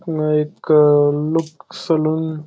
हा एक look salon --